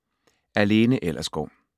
Af Lena Ellersgaard